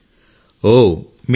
మీది ఉత్తర ప్రదేశా